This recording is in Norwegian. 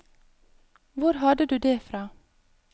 Hvor hadde du det fra?